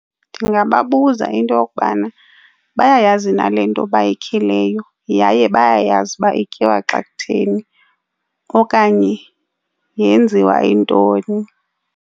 Ndingababuza into yokubana bayayazi na le nto bayikhileyo, yaye bayayazi uba ityiwa xa kutheni okanye yenziwa intoni.